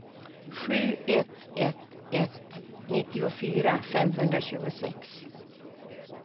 sju ett ett ett nittiofyra femhundratjugosex